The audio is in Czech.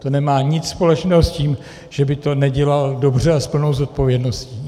To nemá nic společného s tím, že by to nedělal dobře a s plnou zodpovědností.